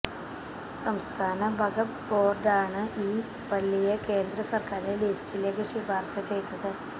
സംസ്ഥാന വഖഫ് ബോര്ഡാണ് ഈ പള്ളിയെ കേന്ദ്ര സര്ക്കാരിന്റെ ലിസ്റ്റിലേക്കു ശിപാര്ശ ചെയതത്